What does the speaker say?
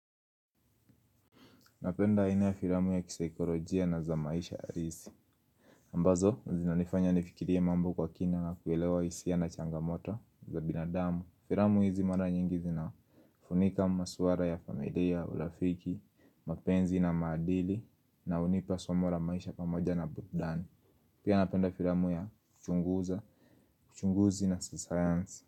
Napenda aina ya filamu ya kisaikolojia na za maisha halisi. Ambazo zinanifanya nifikirie mambo kwa kina na kuelewa hisia na changamoto za binadamu. Filamu hizi mara nyingi na funika masuara ya famedea, ulafiki, mapenzi na madili na unipa suamora maisha pamoja na budani. Pia napenda filamu ya kuchunguza, uchunguzi na sayansi.